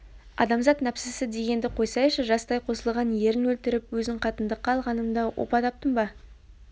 адамзат нәпсісі дегенді қойсайшы жастай қосылған ерін өлтіріп өзін қатындыққа алғанымда опа таптым ба